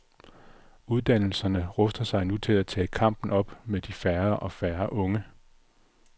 Uddannelserne ruster sig nu til at tage kampen op om de færre og færre unge.